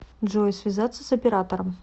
джой связаться с оператором